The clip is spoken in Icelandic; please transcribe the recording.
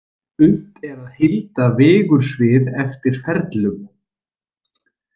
Unnt er að heilda vigursvið eftir ferlum.